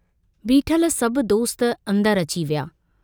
बीठल सभु दोस्त अंदरि अची विया।